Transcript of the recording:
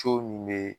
min bɛ